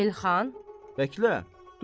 Elxan, Bəklə, dur.